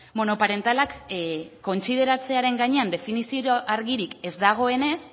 monoparentalak kontsideratzearen gainean definizio argirik ez dagoenez